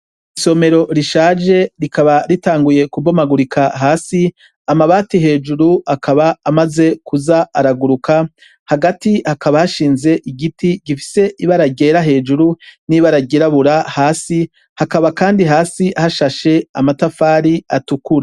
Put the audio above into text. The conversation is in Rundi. Isomero rishaje, rikaba ritanguye kubomagurika hasi, amabati hejuru akaba amaze kuza araguruka, hagati hakaba hashinze igiti gifise ibara ryera hejuru n'ibara ryirabura hasi, hakaba kandi hasi hashashe amatafari atukura.